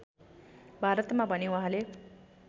भारतमा भने उहाँले